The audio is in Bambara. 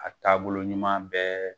A taabolo ɲuman bɛɛ